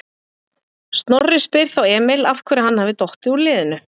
Snorri spyr þá Emil af hverju hann hafi dottið úr liðinu?